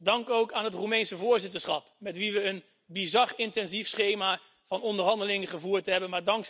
Dank ook aan het Roemeense voorzitterschap, met wie we een bizar intensief schema van onderhandelingen gevoerd hebben.